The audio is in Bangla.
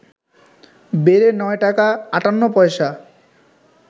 বেড়ে ৯ টাকা ৫৮ পয়সা